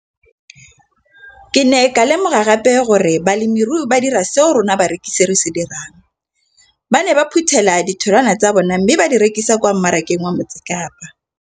Ke ne ka lemoga gape gore balemirui ba dira seo rona barekisi re se dirang, ba ne ba phuthela ditholwana tsa bona mme ba di rekisa kwa marakeng wa Motsekapa.